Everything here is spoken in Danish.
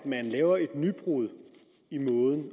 at man laver et nybrud i måden